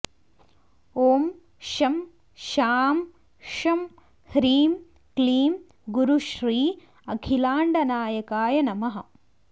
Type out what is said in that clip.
ॐ शं शां षं ह्रीं क्लीं गुरुश्री अखिलाण्डनायकाय नमः